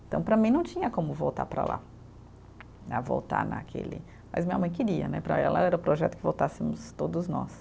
Então para mim não tinha como voltar para lá, né voltar naquele, mas minha mãe queria né, para ela era o projeto que voltássemos todos nós.